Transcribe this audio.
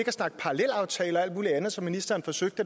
at snakke parallelaftaler og alt muligt andet som ministeren forsøgte